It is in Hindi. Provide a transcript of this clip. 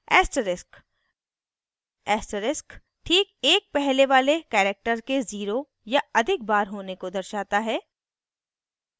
asterisk: asterisk ठीक एक पहले वाले character के 0 या अधिक बार होने को दर्शाता है